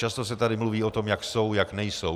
Často se tady mluví o tom, jak jsou, jak nejsou.